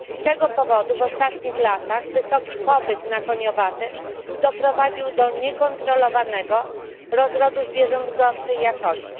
Z tego powodu w ostatnich latach wysoki popyt na koniowate doprowadził do niekontrolowanego rozrodu zwierząt gorszej jakości.